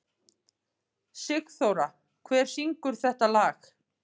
Sigurþóra, hver syngur þetta lag?